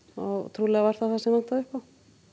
trúlega var það það sem vantaði upp á